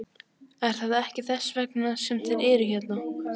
Er það ekki þess vegna sem þeir eru hérna?